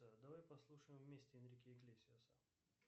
давай послушаем вместе энрике иглесиаса